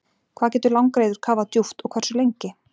Hvað getur langreyður kafað djúpt og hversu lengi?